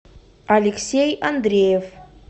алексей андреев